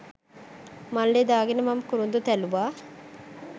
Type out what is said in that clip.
මල්ලෙ දාගෙන මම කුරුදු තැළුවා.